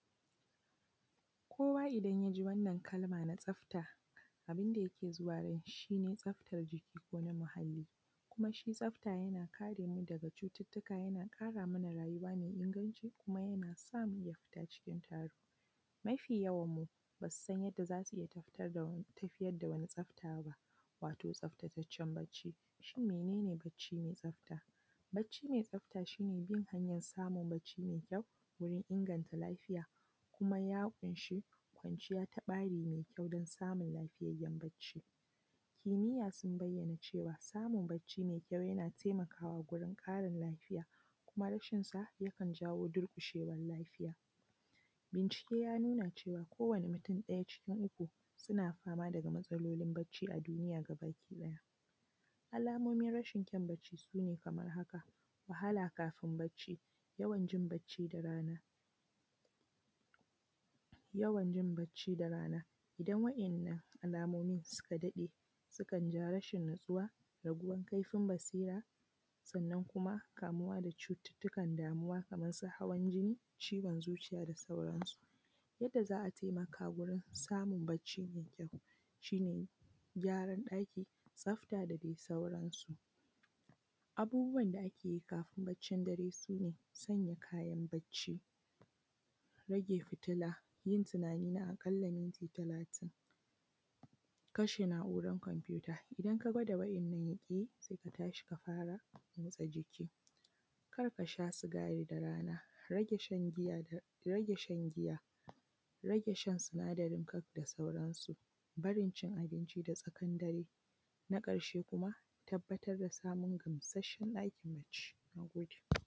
Kowa idan ya ji wannan kalma na tsafta, abun da yake zuwa kanshi shi ne tsaftar jiki ko na muhalli domin shi tsafta yana kare mu daga cututtuka kuma yana ƙara mana rayuwa me inganci kuma yana samu cikin taro mafiyawanmu ba su san yadda za su iya tafiyar da wani tsafta ba.